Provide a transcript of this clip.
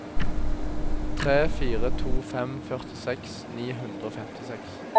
tre fire to fem førtiseks ni hundre og femtiseks